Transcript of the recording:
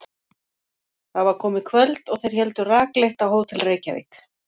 Það var komið kvöld og þeir héldu rakleitt á Hótel Reykjavík.